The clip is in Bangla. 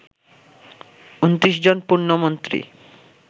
২৯ জন পূর্ণমন্ত্রী